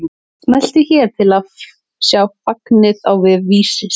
Smelltu hér til að sjá fagnið á vef Vísis